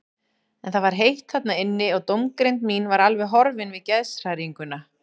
En það var heitt þarna inni og dómgreind mín var alveg horfin við geðshræringuna.